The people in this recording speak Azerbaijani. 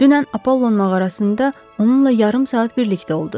Dünən Apollon mağarasında onunla yarım saat birlikdə olduz.